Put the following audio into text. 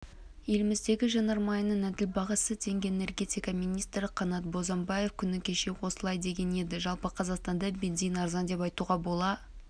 еліміздегі жанармайының әділ бағасы теңге энергетика министрі қанат бозымбаев күні кеше осылай деген еді жалпы қазақстанда бензин арзан деп айтуға бола